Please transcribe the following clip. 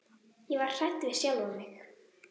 Ég var hrædd við sjálfa mig.